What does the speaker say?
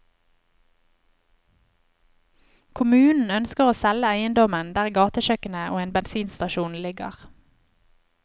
Kommunen ønsker å selge eiendommen der gatekjøkkenet og en bensinstasjon ligger.